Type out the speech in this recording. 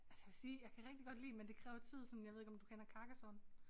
Altså jeg vil sige jeg kan rigtig godt lide men det kræver tid sådan jeg ved ikke om du kender Carcassonne